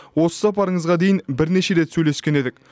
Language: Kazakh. осы сапарыңызға дейін бірнеше рет сөйлескен едік